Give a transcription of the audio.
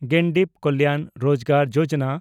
Garib Kalyan Rozgar Yojana